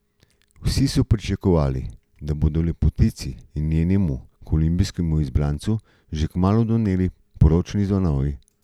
Vsi so pričakovali, da bodo lepotici in njenemu kolumbijskemu izbrancu že kmalu doneli poročni zvonovi.